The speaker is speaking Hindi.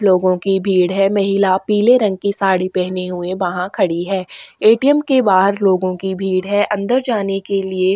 लोगों की भीड़ है महिला पीले रंग की साड़ी पहने हुए वहां खड़ी है ए.टी.एम. के बाहर लोगों की भीड़ है अंदर जाने के लिए--